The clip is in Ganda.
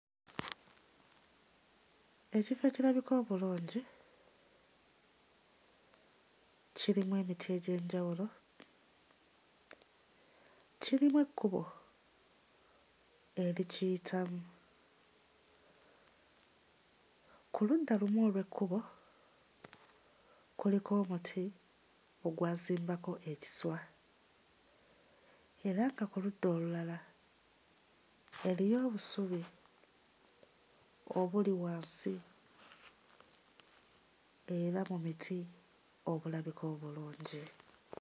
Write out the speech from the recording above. Ekifo ekirabika obulungi kirimu emiti egy'enjawulo, kirimu ekkubo erikiyitamu. Ku ludda lumu olw'ekkubo kuliko omuti ogwasimbako ekiswa era nga ku ludda olulala eriyo obusubi obuli wansi era mu miti obulabika obulungi.